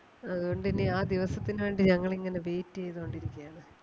അതുകൊണ്ട് ഇനി ആ ദിവസത്തിന് വേണ്ടി ഞങ്ങൾ ഇങ്ങനെ wait ചെയ്തോണ്ട് ഇരിക്കയാണ്.